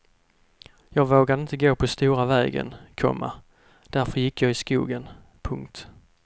Jag vågade inte gå på stora vägen, komma därför gick jag i skogen. punkt